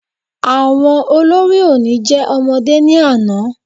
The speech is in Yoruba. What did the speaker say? Àwọn olórí oní jẹ́ ọmọdé ní àná